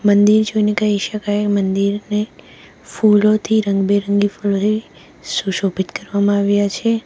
મંદિર જોઈને કહી શકાય મંદિરને ફૂલોથી રંગબેરંગી ફૂલોથી સુશોભિત કરવામાં આવ્યા છે.